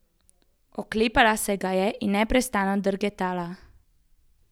Oklepala se ga je in nepretrgano drgetala.